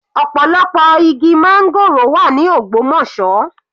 Ọ̀pọ̀lọpọ̀ igi máńgòrò wà ní Ogbomosọ.